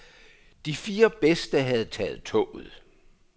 De fire bedste havde taget toget.